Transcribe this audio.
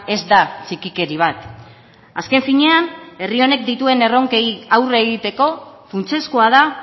ez da txikikeri bat azken finean herri honek dituen erronkei aurre egiteko funtsezkoa da